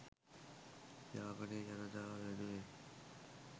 යාපනයේ ජනතාව වෙනුවෙන්